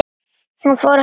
Hann fór ekki að hlæja.